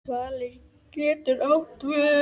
Svali getur átt við